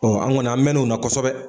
Ɔ an kɔni an mɛn o na kosɛbɛ.